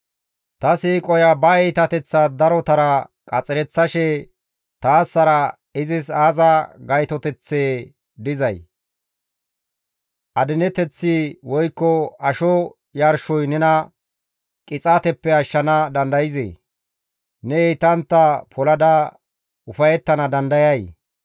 Ta siiqoya ba iitateththaa darotara qaxereththashe taassara izis aaza gaytoteththee dizay? Adineteththi woykko asho yarshoy nena qixaateppe ashshana dandayzee? Ne heytantta polada ufayettana dandayay?